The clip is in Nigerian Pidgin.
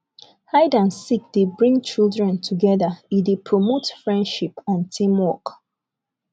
hide and seek dey bring children together e dey promote friendship and teamwork